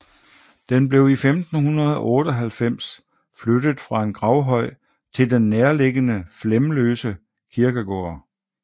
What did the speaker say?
Den blev i 1598 flyttet fra en gravhøj til den nærliggende Flemløse Kirkegård